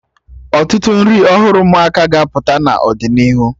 Ọtụtụ nri ọhụrụ ụmụaka ga-apụta n'ọdịnihu